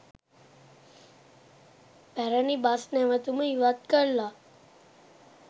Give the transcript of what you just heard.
පැරණි බස් නැවතුම ඉවත් කරලා